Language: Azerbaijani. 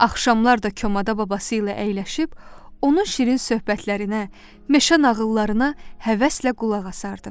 Axşamlar da çomada babası ilə əyləşib, onun şirin söhbətlərinə, meşə nağıllarına həvəslə qulaq asardı.